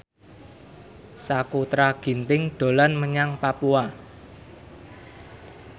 Sakutra Ginting dolan menyang Papua